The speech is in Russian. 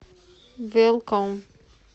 велком